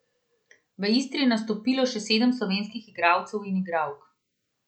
V Istri je nastopilo še sedem slovenskih igralcev in igralk.